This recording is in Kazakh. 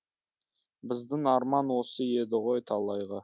біздің арман осы еді ғой талайғы